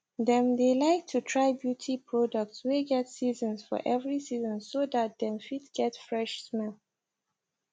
them dae like to try beauty products wae get season for every season so that dem fit get fresh smell